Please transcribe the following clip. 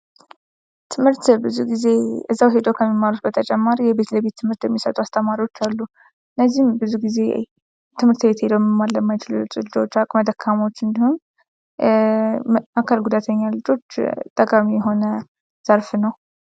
ትምህርት ብዙ ጊዜ እዛው ሄዶ ከሚመሩት በተጨማሪ የቤት ለቤት ትምህርት የሚሰጡ አስተማሪዎች አሉ ።እነዚህም ብዙ ጊዜ ትምህርት ቤት ሄደው መማር ለማይችሉ ልጆች ፣ አቅመ ደካማዎች እንዲሁም አካል ጉዳተኛ ልጆች ጠቃሚ የሆነ ዘርፍ ነው።